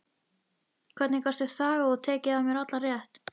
Hvernig gastu þagað og tekið af mér allan rétt?